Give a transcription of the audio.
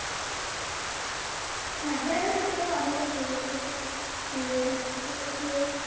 হ্যাঁ মেয়েদের ক্ষেত্রে আবার অনেকটা সুযোগ দিয়েছে যে হচ্ছে যে,